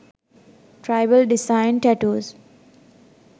tribal design tattoos